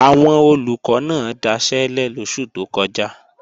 Àwọn Olùkọ́ náà daṣẹ́lẹ̀ lóṣù tó kọjá